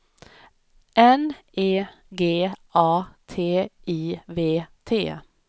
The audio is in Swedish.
N E G A T I V T